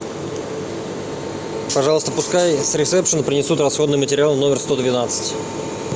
пожалуйста пускай с ресепшна принесут расходный материал в номер сто двенадцать